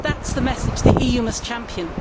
That is the message the EU must champion.